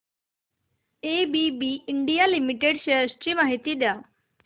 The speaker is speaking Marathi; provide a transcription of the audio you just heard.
एबीबी इंडिया लिमिटेड शेअर्स ची माहिती द्या